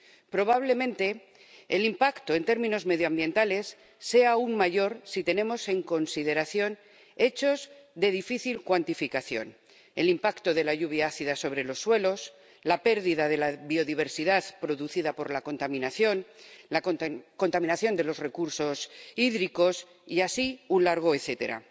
Probablemente el impacto en términos medioambientales sea aún mayor si tenemos en consideración hechos de difícil cuantificación el impacto de la lluvia ácida sobre los suelos, la pérdida de la biodiversidad producida por la contaminación, la contaminación de los recursos hídricos, y así un largo etcétera.